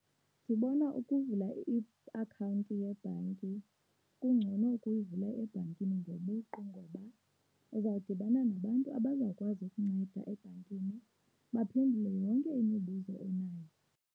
Ndibona ukuvula iakhawunti yebhanki kungcono ukuyivula ebhankini ngobuqu ngoba uzawudibana nabantu abazawukwazi ukunceda ebhankini, baphendule yonke imibuzo onayo